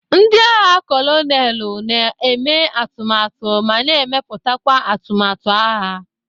Ndị agha kolonelu na eme atụmatụ ma na emeputakwa atụmatụ agha.